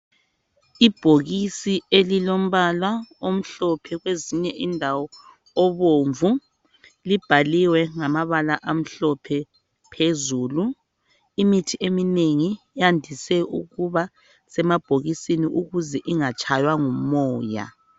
Ibhokisi elilombala omhlophe kwezinye indawo obomvu libhaliwe ngamabala amhlophe phezulu. Imithi eminengi yandise ukuba semabhokisini ukuze ingatshaywa ngumoya.